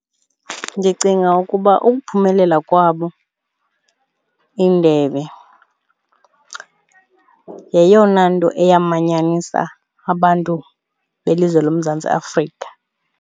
Ndicinga ukuba ukuphumelela kwabo indebe yeyona nto eyamanyanisa abantu belizwe loMzantsi Afrika.